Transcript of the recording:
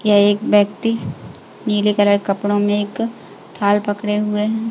यह एक बैक्ति नीले कलर कपड़ो में एक थाल पकडे हुए है।